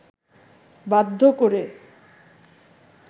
বাধ্য করে